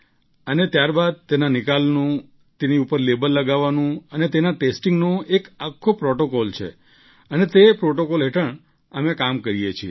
અને ત્યારબાદ તેના નિકાલનું લેબલ લગાવવાનું અને તેના ટેસ્ટિંગનો એક આખો પ્રૉટોકોલ છે અને તે પ્રૉટોકોલ હેઠળ કામ કરીએ છીએ